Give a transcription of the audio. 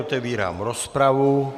Otevírám rozpravu.